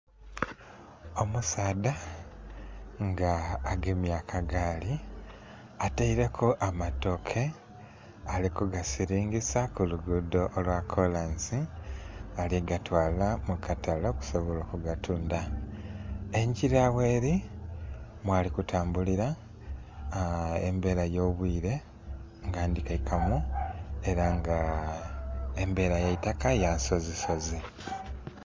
Ennhumba eya kalina nga eliku mobile money eya Aitel, enhumba enho ghambeli ghayo ghali kubitagho ente.